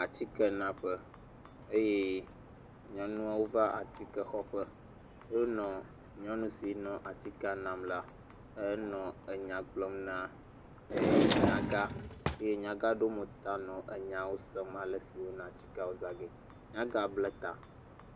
Atikɛnaƒe eye nyɔnuawo va atikɛ xɔƒe. Wonɔ nyɔnu si nɔ atikɛa nam le henɔ nya gblɔm na er nyagã eye nyagã eɖo mo ta nɔ nyawo sem ale si woyina atikɛawo zãgee. Nyagã bla ta.